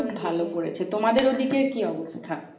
খুব ভালো পড়েছে। তোমাদের ও দিকের কি অবস্থা?